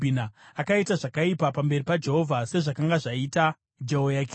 Akaita zvakaipa pamberi paJehovha, sezvakanga zvaita Jehoyakini.